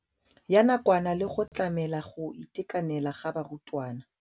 ya nakwana le go tlamela go itekanela ga barutwana.